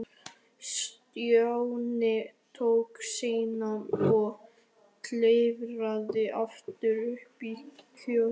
Stjáni tók sína og klifraði aftur upp í kojuna.